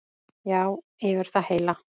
Já, yfir það heila.